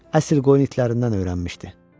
Əsl qoyun itlərindən öyrənmişdi.